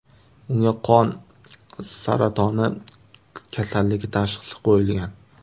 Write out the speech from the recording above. Unga qon saratoni kasalligi tashxisi qo‘yilgan.